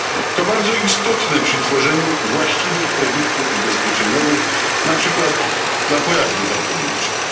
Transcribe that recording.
To bardzo istotne przy tworzeniu właściwych produktów ubezpieczeniowych, na przykład dla pojazdów autonomicznych.